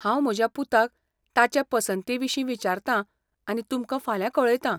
हांव म्हज्या पुताक ताचे पसंतीविशीं विचारतां आनी तुमकां फाल्यां कळयतां.